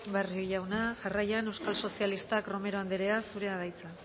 barrio jauna jarraian euskal sozialistak romero anderea zurea da hitza